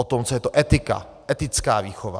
O tom, co je to etika, etická výchova.